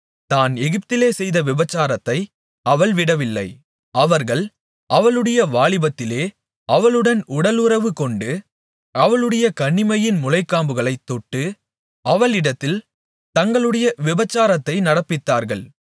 தான் எகிப்திலே செய்த விபசாரத்தை அவள் விடவில்லை அவர்கள் அவளுடைய வாலிபத்திலே அவளுடன் உடல் உறவு கொண்டு அவளுடைய கன்னிமையின் முலைக்காம்புகளைத் தொட்டு அவளிடத்தில் தங்களுடைய விபசாரத்தை நடப்பித்தார்கள்